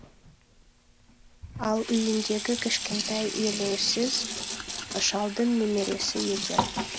ал үйіндегі кішкентай елеусіз шалдың немересі екен